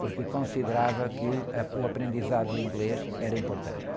porque considerava que, ãh, o aprendizado em inglês era importante.